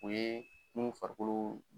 O ye minnu farikolo